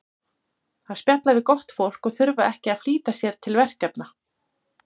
Að spjalla við gott fólk og þurfa ekki að flýta sér til verkefna.